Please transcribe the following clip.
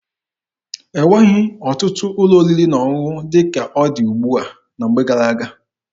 E nweghị ọtụtụ ụlọ oriri na ọṅụṅụ dị ka ọ dị ugbua na mgbe gara-aga.